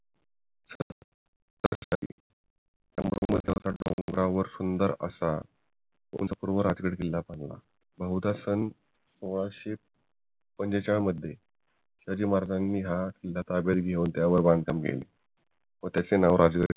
डोंगरावर सुंदर असा उंच राजगड किल्ला बनवला बहुदा सन सोळाशे पंचेचाळीस मध्ये त्याची मर्दानी हात ताब्यात घेवून त्यावर बांधकाम केले व त्याचे